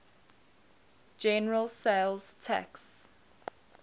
general sales tax